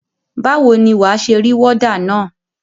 Báwo ni wà á ṣe rí wọ́dà na?